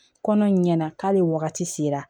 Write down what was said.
Kɔnɔ ɲɛna k'ale wagati sera